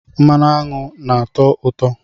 Mmanụ aṅụ nna-atọ ụtọ